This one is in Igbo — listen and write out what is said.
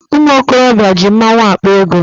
Ụmụ okorobịa ji mmaọnwụ akpa ego.